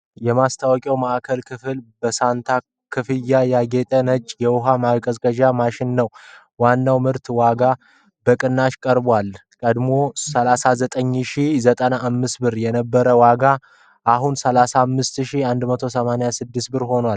የማስታወቂያው ማዕከላዊ ክፍል በሳንታ ኮፍያ ያጌጠ ነጭ የውሃ ማቀዝቀዣ ማሽን ነው። የዋናው ምርት ዋጋ በቅናሽ ቀርቧል፤ ቀድሞ 39,095 የነበረው ዋጋ አሁን 35,186 ሆኗል።